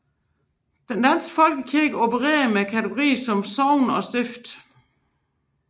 Den danske Folkekirke opererer med kategorier som sogne og stifter